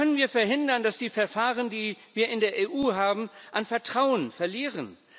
Wie können wir verhindern, dass die Verfahren, die wir in der EU haben, an Vertrauen verlieren?